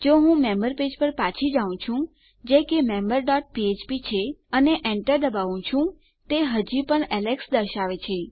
જો હું member page પર પાછો જાઉં છું જે કે મેમ્બર ડોટ ફ્ફ્પ છે અને એન્ટર દબાવું છું તે હજું પણ એલેક્સ દર્શાવે છે